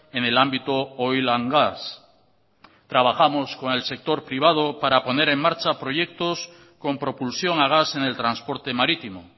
en el ámbito oilgas trabajamos con el sector privado para poner en marcha proyectos con propulsión a gas en el transporte marítimo